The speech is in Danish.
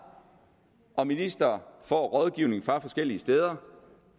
og fordi ministre får rådgivning fra forskellige steder